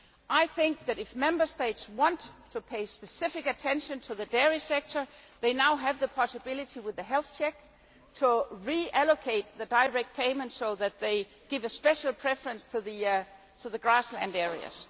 I think that, if Member States want to pay specific attention to the dairy sector, they now have the possibility with the health check to reallocate the direct payments so they give a special preference to the grassland areas.